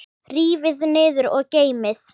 Rífið niður og geymið.